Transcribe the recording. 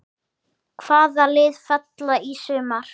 Hvaða lið falla í sumar?